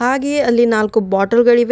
ಹಾಗೆಯೇ ಅಲ್ಲಿ ನಾಲ್ಕು ಬಾಟಲ್ ಗಳಿವೆ.